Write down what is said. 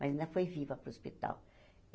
Mas ainda foi viva para o hospital.